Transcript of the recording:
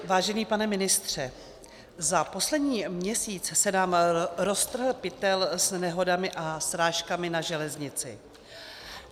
Vážený pane ministře, za poslední měsíc se nám roztrhl pytel s nehodami a srážkami na železnici.